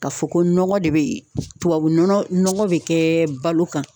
Ka fɔ ko nɔgɔ de bɛ tubabu nɔgɔ nɔgɔ bɛ kɛ balo kan